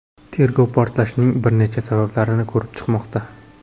Tergov portlashning bir necha sabablarini ko‘rib chiqmoqda.